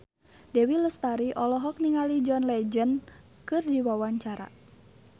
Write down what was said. Dewi Lestari olohok ningali John Legend keur diwawancara